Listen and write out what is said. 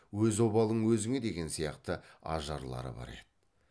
өз обалың өзіңе деген сияқты ажарлары бар еді